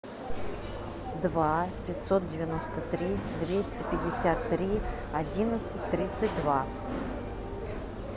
два пятьсот девяносто три двести пятьдесят три одиннадцать тридцать два